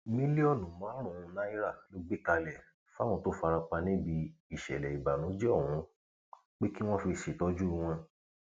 mílíọnù márùnún náírà ló gbé kalẹ fáwọn tó fara pa níbi ìṣẹlẹ ìbànújẹ ọhún pé kí wọn fi ṣètọjú wọn